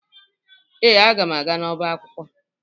Ee, aga m aga n'ọba akwụkwọ